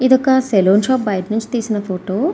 ఇది ఒక saloon shop బయటనుంచి తీసిన ఫోటో .